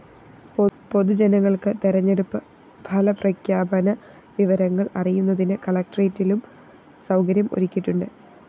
പൊതുജനങ്ങള്‍ക്ക് തെരഞ്ഞെടുപ്പ് ഫലപ്രഖ്യാപന വിവരങ്ങള്‍ അറിയുന്നതിന് കലക്ടറേറ്റിലും സൗകര്യം ഒരുക്കിയിട്ടുണ്ട്